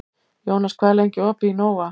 Jónas, hvað er lengi opið í Nova?